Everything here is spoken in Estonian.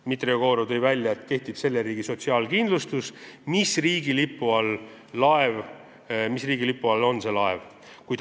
Dmitri Jegorov tõi välja, et kehtib selle riigi sotsiaalkindlustus, mis riigi lipu all see laev on.